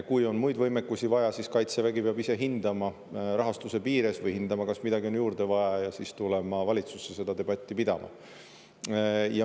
Kui on muid võimekusi vaja, siis Kaitsevägi peab ise rahastuse piires hindama, kas midagi on juurde vaja, ja tulema valitsusse seda debatti pidama.